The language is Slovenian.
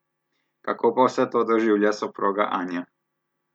Kako pa vse to doživlja soproga Anja?